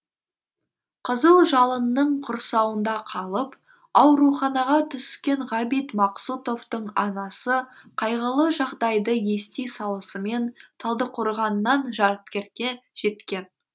қызыл жалынның құрсауында қалып ауруханаға түскен ғабит мақсұтовтың анасы қайғылы жағдайды ести салсымен талдықорғаннан жаркентке жеткен